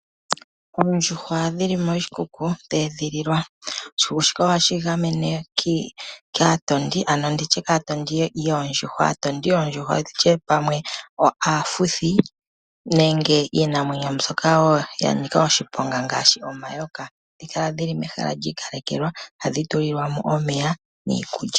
Oondjuhwa dhili moshikuku dheedhililwa. Oshikuku shika ohashi dhi gamene kaatondi ano nditye kaatondi yoondjuhwa nditye pamwe aafuthi nenge iinamwenyo mbyoka wo ya nika oshiponga ngaashi omayoka. Ohadhi kala dhili mehala lyiikalekelwa hadhi tulilwamo omeya niikulya.